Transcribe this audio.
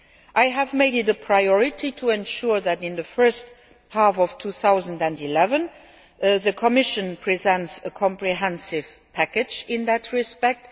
I have made it a priority to ensure that in the first half of 2011, the Commission presents a comprehensive package in that respect.